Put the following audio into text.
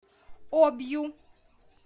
обью